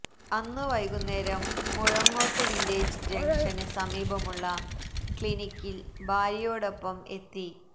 അന്ന് വൈകുന്നേരം മുഴങ്ങോട്ട് വില്ലേജ് ജങ്ഷന് സമീപമുള്ള ക്ലിനിക്കിൽ ഭാര്യയോടൊപ്പം എത്തി